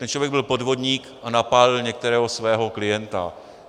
Ten člověk byl podvodník a napálil některého svého klienta.